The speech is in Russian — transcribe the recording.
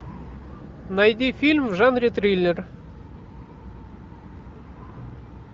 найди фильм в жанре триллер